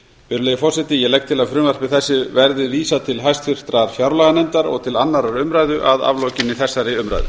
virðulegi forseti ég legg til að frumvarpi þessu verði vísað til háttvirtrar fjárlaganefndar og til annarrar umræðu að aflokinni þessari umræðu